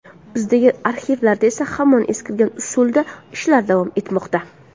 Bizdagi arxivlarda esa hamon eskirgan usulda ishlar davom etmoqda.